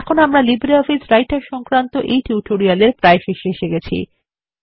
এখন আমরা LibreOffice Writer সংক্রান্ত এই টিউটোরিয়াল এর প্রায় শেষে এসে গেছি